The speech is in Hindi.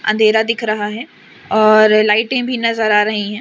अंधेरा दिख रहा हैं और लाइटे भी नजर आ रही हैं।